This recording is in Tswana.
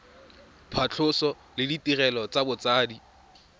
phatlhoso le ditirelo tsa botsadi